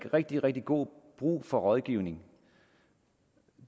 rigtig rigtig god brug for rådgivning